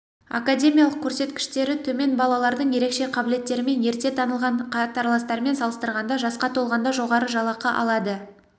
академиялық көрсеткіштері төмен балалардың ерекше қабілеттерімен ерте танылған қатарластарымен салыстырғанда жасқа толғанда жоғары жалақы алады